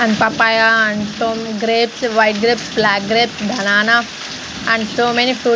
and papaya and grapes white grapes black grapes banana and so many fruits --